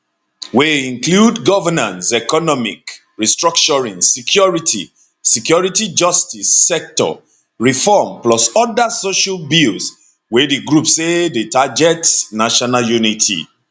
wey include governance economic restructuring security security justice sector reform plus oda social bills wey di group say dey target national unity